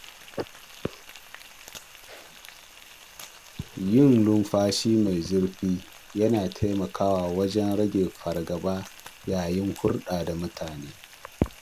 Yin numfashi mai zurfi yana taimakawa wajen rage fargaba yayin hulɗa da mutane.